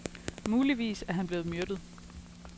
Muligvis er han blevet myrdet.